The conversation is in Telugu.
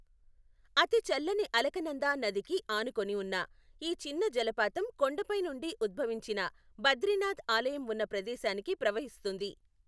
అతి చల్లని అలకనందా నదికి ఆనుకుని ఉన్న ఈ చిన్న జలపాతం కొండ పైనుండి ఉద్భవించి బద్రీనాథ్ ఆలయం ఉన్న ప్రదేశానికి ప్రవహిస్తుంది.